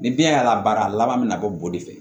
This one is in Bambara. Ni biyɛn y'a la baara laban mi na bɔ de fɛ